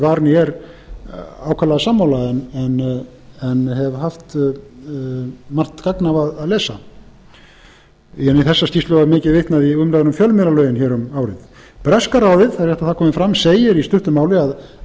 var né er ákaflega sammála en hef haft margt gagn af að lesa í þessa skýrslu var mikið vitnað í umræðu um fjölmiðlalögin hér um árið breska ráðið það er rétt að það komi fram segir í stuttu máli að